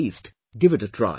At least, give it a try